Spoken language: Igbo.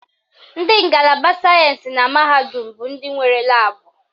Ndị ngalaba sayensị na mahadum bụ ndị nwere laabụ